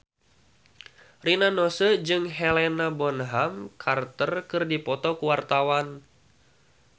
Rina Nose jeung Helena Bonham Carter keur dipoto ku wartawan